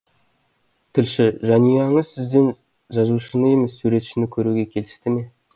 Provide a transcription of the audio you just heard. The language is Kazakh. тілші жанұяңыз сізден жазушыны емес суретшіні көруге келісті ме